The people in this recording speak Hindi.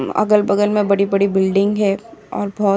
उ अगल-बगल में बड़ी-बड़ी बिल्डिंग है और बहुत --